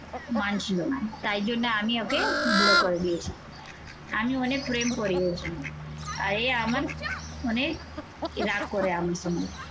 মানছি না। তাই জন্য আমি ওকে বুড়ো করে দিয়েছি আমি অনেক প্রেম করিয়েছি, আর এ আমার অনেক রাগ করে আমার সঙ্গে